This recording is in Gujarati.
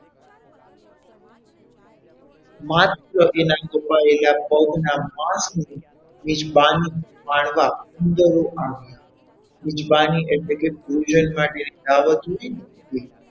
માત્ર એના કપાયેલા પગના માસની મિજબાની માળવા ગીધડો આવ્યા મિજબાની એટલે ભોજન માટે જે દાવત હોય ને તે,